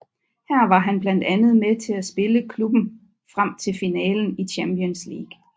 Her var han blandt andet med til at spille klubben frem til finalen i Champions League